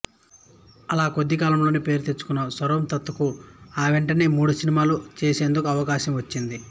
అలా కొద్దికాలంలోనే పేరు తెచ్చుకున్న సర్వోత్తంకు ఆ వెంటనే మూడు సినిమాలు తీసేందుకు అవకాశం వచ్చింది